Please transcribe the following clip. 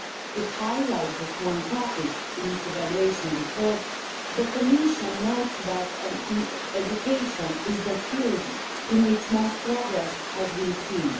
To highlight just one topic in its evaluation report, the Commission notes that education is the field in which most progress has been seen.